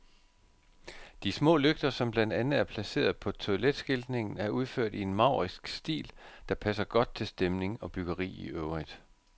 De små lygter, som blandt andet er placeret på toiletskiltningen, er udført i en maurisk stil, der passer godt til stemning og byggeri i øvrigt.